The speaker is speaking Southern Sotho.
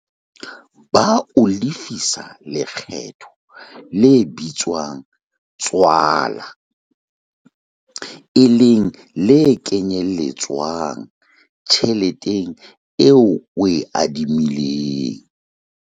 Ba o lefisa lekgetho le bitswang tswala, e leng le kenyeletswang tjheleteng eo o e adimilweng.